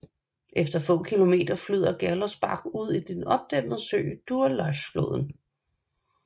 Efter få kilometer flyder Gerlosbach ud i den opdæmmede sø Durlaßboden